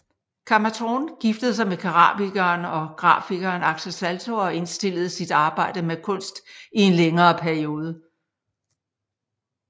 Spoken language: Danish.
Kamma Thorn giftede sig med keramikeren og grafikeren Axel Salto og indstillede sit arbejde med kunst i en længere periode